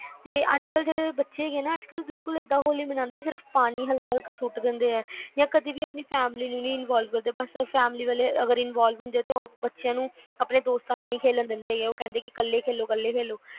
ਕਿ ਅੱਜ ਕੱਲ ਜਿਹੜੀ ਬੱਚੇ ਹੈਗੇ ਆ ਏਦਾਂ ਹੋਲੀ ਮਨਾਂਦੇ ਹੈਗੇ ਆ ਪਾਣੀ ਸਿਰਫ ਹਲਕਾ ਹਲਕਾ ਸੁੱਟ ਦਿੰਦੇ ਆ ਤੇ ਕਦੇ ਆਪਣੀ family ਨੂੰ ਨੀ involve ਕਰਦੇ ਹੈਗੇ ਜੇ involve ਕਰਦੇ ਵੀ ਹੈਗੇ ਆ ਤਾ ਆਪਣੇ ਦੋਸਤਾਂ ਨਾਲ ਨੀ ਖੇਲਣ ਦਿੰਦੇ ਕਹਿੰਦੇ ਆ ਕੱਲੇ ਖੇਲੋ